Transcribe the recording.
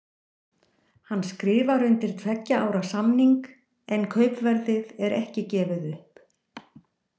Hann skrifar undir tveggja ára samning en kaupverðið er ekki gefið upp.